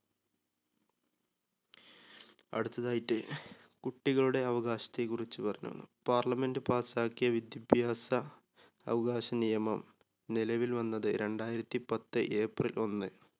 അടുത്തതായിട്ട് കുട്ടികളുടെ അവകാശത്തെ കുറിച്ച് . parliament pass ക്കിയ വിദ്യഭ്യാസ അവകാശ നിയമം നിലവിൽ വന്നത് രണ്ടായിരത്തി പത്ത് april ഒന്ന്.